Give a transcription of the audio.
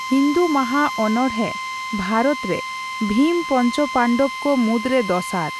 ᱦᱤᱱᱫᱩ ᱢᱟᱦᱟ ᱚᱱᱚᱸᱲᱦᱮ ᱵᱷᱟᱨᱚᱛ ᱨᱮ ᱵᱷᱤᱢ ᱯᱚᱧᱪᱚᱯᱟᱱᱰᱚᱵ ᱠᱚ ᱢᱩᱫᱽᱨᱮ ᱫᱚᱥᱟᱨ ᱾